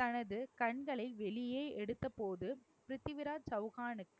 தனது கண்களை வெளியே எடுத்தபோது பிருத்திவிராஜ் சௌகானுக்கு